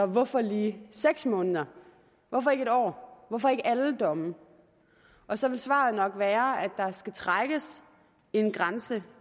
hvorfor lige seks måneder hvorfor ikke en år hvorfor ikke alle domme og så vil svaret nok være at der skal trækkes en grænse